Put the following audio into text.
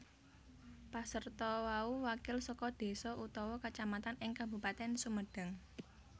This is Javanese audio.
Pasarta mau wakil saka désa utawa kacamatan ing Kabupatèn Sumedang